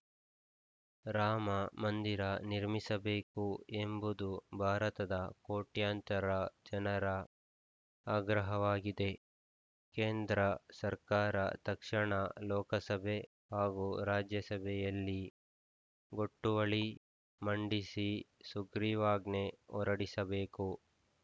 ರಾಮ ಮಂದಿರ ನಿರ್ಮಿಸಬೇಕು ಎಂಬುದು ಭಾರತದ ಕೋಟ್ಯಂತರ ಜನರ ಆಗ್ರಹವಾಗಿದೆ ಕೇಂದ್ರ ಸರ್ಕಾರ ತಕ್ಷಣ ಲೋಕಸಭೆ ಹಾಗೂ ರಾಜ್ಯಸಭೆಯಲ್ಲಿ ಗೊಟ್ಟುವಳಿ ಮಂಡಿಸಿ ಸುಗ್ರೀವಾಜ್ಞೆ ಹೊರಡಿಸಬೇಕು